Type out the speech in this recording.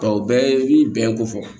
Nka o bɛɛ ye bɛn ko fɔ